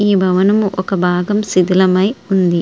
ఈ భవనం ఒక భాగం శిథిలమై ఉంది.